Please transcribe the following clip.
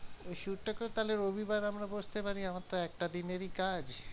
এই shoot টা করে তাহলে রবিবার আমরা বসতে পারি আমার তো একটা দিনেরই কাজ।